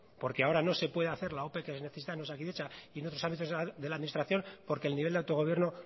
porque ahora no se puede hacer la ope que necesita osakidetza y en otros ámbitos de la administración porque el nivel de autogobierno